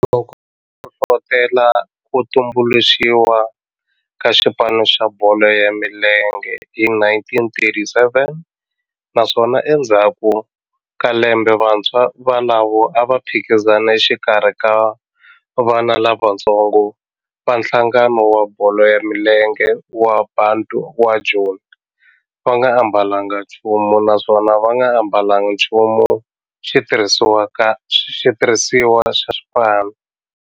Loko a hlohlotela ku tumbuluxiwa ka xipano xa bolo ya milenge hi 1937 naswona endzhaku ka lembe vantshwa volavo a va phikizana exikarhi ka vana lavatsongo va nhlangano wa bolo ya milenge wa Bantu wa Joni va nga ambalanga nchumu naswona va nga ambalanga nchumu xitirhisiwa xa xipano.